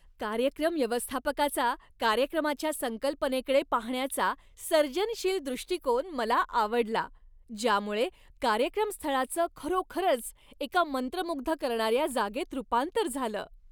कार्यक्रम व्यवस्थापकाचा कार्यक्रमाच्या संकल्पनेकडे पाहण्याचा सर्जनशील दृष्टीकोन मला आवडला, ज्यामुळे कार्यक्रमस्थळाचं खरोखरच एका मंत्रमुग्ध करणाऱ्या जागेत रूपांतर झालं.